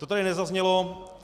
To tady nezaznělo.